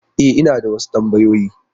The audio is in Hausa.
E, ina da wasu tambayoyi.